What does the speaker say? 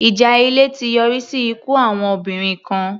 Ìjà ilé ti yọrí sí ikú àwọn obìnrin kan.